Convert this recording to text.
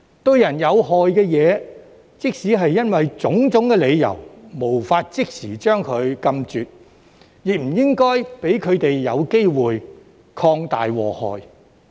對人有害的東西，即使因種種理由無法即時將它禁絕，亦不應讓它有機會擴大禍害。